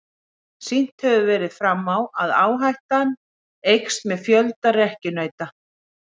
Sýnt hefur verið fram á að áhættan eykst með fjölda rekkjunauta.